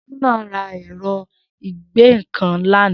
Shina rà ẹ̀rọ̀ igbẹ̀nnkán làná